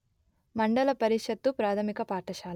మండల పరిషత్తు ప్రాథమిక పాఠశాల